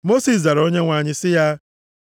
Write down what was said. Mosis zara Onyenwe anyị sị ya,